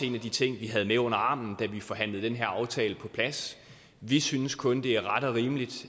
en af de ting vi havde med under armen da vi forhandlede den her aftale på plads vi synes kun det er ret og rimeligt